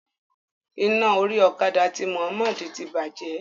Iná orí okada ti Muhmmad ti bàjẹ́.